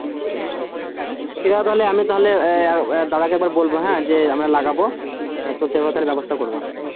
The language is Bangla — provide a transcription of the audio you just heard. ঠিক আছে তাহলে আমি তাহলে আহ দাদাকে একবার বলব হ্যাঁ যে আমরা লাগাবো আহ তোদের সেরকম তাহলে ব্যবস্থা করবা